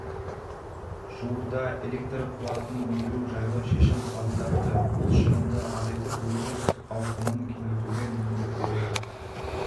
жуырда электр қуатын өндіру жайлы шешім қабылдапты бұл шығынды азайтып өндіріс ауқымын кеңейтуге мүмкіндік береді